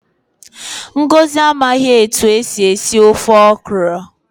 Ngọzi amaghị etu esi esi ofe okro